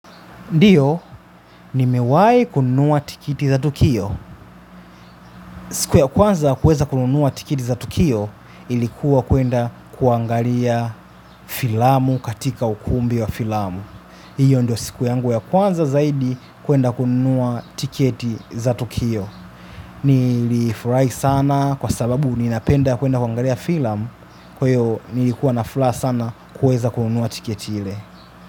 Ndiyo, nimewahi kununua tiketi za tukio. Siku ya kwanza kuweza kununua tiketi za tukio ilikuwa kwenda kuangalia filamu katika ukumbi wa filamu. Hiyo ndio siku ya kwanza zaidi kwenda kununua tiketi za tukio. Nilifurahi sana kwa sababu ninapenda kwenda kuangalia filamu kwahyo nilikuwa na furaha sana kuweza kununua tiketi ile.